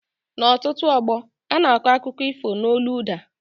N' ọtụtụ ógbó ana akọ akụkọ ifo n' ólú ụda